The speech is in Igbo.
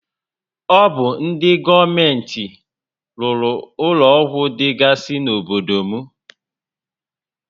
Ọ bụ ndị gọọmenti rụrụ ụlọ ọgwụ dịgasị n'obodo m